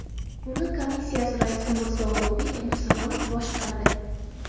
Uni komissiyasi raisi Mirzo-Ulug‘bek Abdusalomov boshqardi .